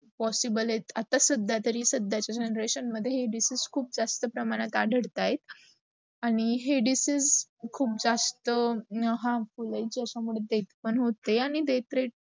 possible आहेत, आता सद्या तरी सद्या चा generation मध्ये हे disease खूप असत प्रमाणे वाढतात आहेत. आणी हे disease, कहुप् जास्त, harmful आहे ज्याचा मुडे, death पण होते आणी death rate